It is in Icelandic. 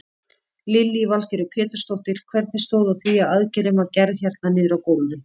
Lillý Valgerður Pétursdóttir: Hvernig stóð á því að aðgerðin var gerð hérna niðri á gólfi?